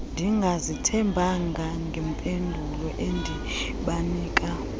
ndingazithembanga ngempendulo endibanika